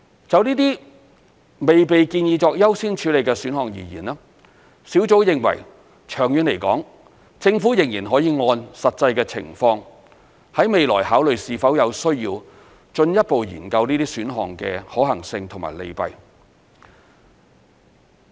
就這些未被建議作優先處理的選項而言，小組認為長遠來說，政府仍然可以按實際情況，在未來考慮是否有需要進一步研究這些選項的可行性及利弊。